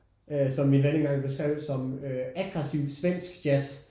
Øh som min ven en gang beskrev som aggressiv svensk jazz